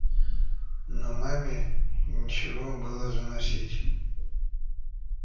но маме нечего было заносить